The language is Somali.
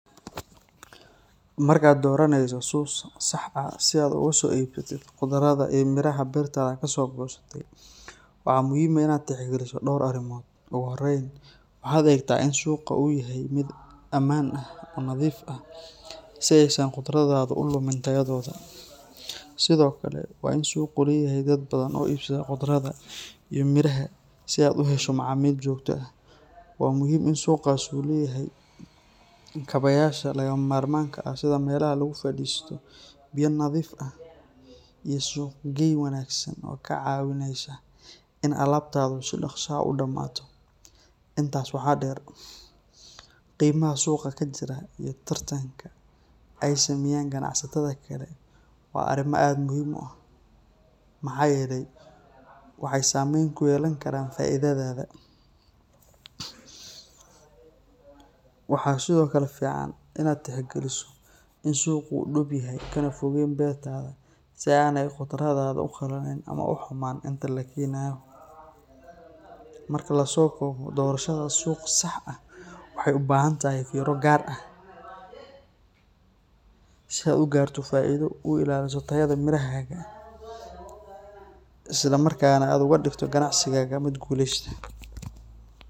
Marka aad dooranayso suuq sax ah si aad uga soo iibsatid khudradda iyo miraha beertaada kasoo goosatay, waxaa muhiim ah inaad tixgeliso dhowr arrimood. Ugu horreyn, waxaad eegtaa in suuqa uu yahay mid ammaan ah oo nadiif ah, si aysan khudraddaada u lumin tayadooda. Sidoo kale, waa in suuqu leeyahay dad badan oo iibsada khudradaha iyo miraha si aad u hesho macaamiil joogto ah. Waa muhiim in suuqaasi uu leeyahay kaabayaasha lagama maarmaanka ah sida meelaha lagu fadhiisto, biyo nadiif ah, iyo suuqgeyn wanaagsan oo kaa caawinaysa in alaabtaadu si dhaqso ah u dhammaato. Intaas waxaa dheer, qiimaha suuqa ka jira iyo tartanka ay sameeyaan ganacsatada kale waa arrimo aad u muhiim ah, maxaa yeelay waxay saameyn ku yeelan karaan faa’iidadaada. Waxaa sidoo kale fiican inaad tixgeliso in suuqa uu dhow yahay kana fogeyn beertaada si aanay khudraddaada u qallalin ama u xumaan inta la keenayo. Marka la soo koobo, doorashada suuq sax ah waxay u baahan tahay fiiro gaar ah, si aad u gaarto faa’iido, u ilaaliso tayada mirahaaga, isla markaana aad uga dhigto ganacsigaaga mid guuleysta.